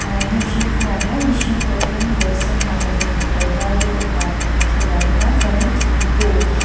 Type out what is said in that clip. hnah hnim hring chungah hian mihring pathum kawr sen ha pahnih leh kawr var deuh ha pakhat hi alo dinga chuanin thing tlu--